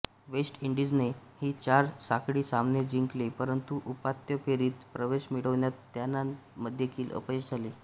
waste इंडीजने ही चार साखळी सामने जिंकले परंतु उपांत्य फेरीत प्रवेश मिळवण्यात त्यांनादेखील अपयश आले